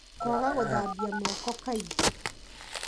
Kwaga gũthambia moko kaingĩ